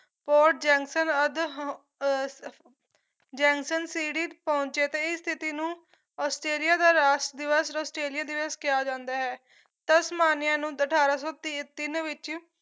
ਪੋ ਜੈਂਕਸਨ ਆਦਿ ਹੁਣ ਅਹ ਪਹੁੰਚੇ ਤੇ ਇਸ ਤਿਥੀ ਨੂੰ ਆਸਟ੍ਰੇਲੀਆ ਦਾ ਰਾਸ਼ਟਰ ਦਿਵਸ ਔਰ ਆਸਟ੍ਰੇਲੀਆ ਦਿਵਸ ਕਿਹਾ ਜਾਂਦਾ ਹੈ ਤਸਮਾਨੀਆਂ ਨੂੰ ਅਠਾਰਾਂ ਸੌ ਤੀ ਤਿੰਨ ਵਿੱਚ